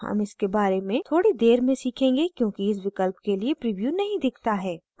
हम इसके बारे में थोड़ी देर में सीखेंगे क्योंकि इस विकल्प के लिए प्रीव्यू नहीं दिखता है